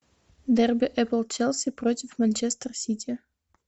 дерби апл челси против манчестер сити